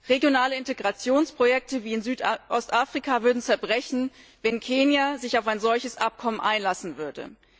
Regionale Integrationsprojekte wie in Südostafrika würden zerbrechen, wenn Kenia sich auf ein solches Abkommen einlassen würde.